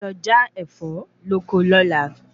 A o lọ já Ẹ̀fọ́ lóko lóla